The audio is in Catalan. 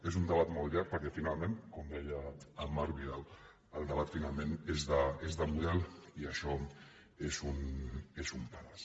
és un debat molt llarg perquè finalment com deia en marc vidal el debat finalment és de model i això és un pedaç